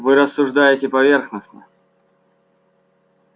вы рассуждаете поверхностно